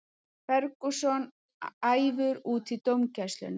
Ferguson æfur út í dómgæsluna